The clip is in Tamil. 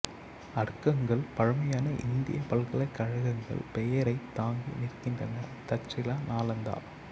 அடுக்ககங்கள் பழமையான இந்திய பல்கலைக்கழகங்கள் பெயரைத் தாங்கி நிற்கின்றன தக்சீலா நளாந்தா